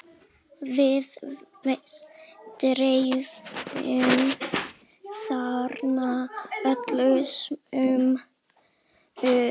Við dveljum þarna öll sumur.